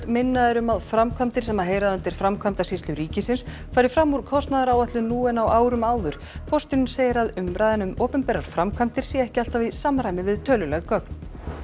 minna er um að framkvæmdir sem heyra undir Framkvæmdasýslu ríkisins fari fram úr kostnaðaráætlun nú en á árum áður forstjóri segir að umræðan um opinberar framkvæmdir sé ekki alltaf í samræmi við töluleg gögn